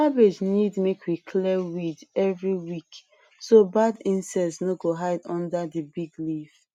cabbage need make we clear weed every week so bad insects no go hide under the big leaf